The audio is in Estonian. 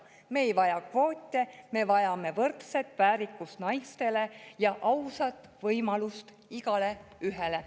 Me ei vaja kvoote, me vajame võrdset väärikust naistele ja ausat võimalust igaühele.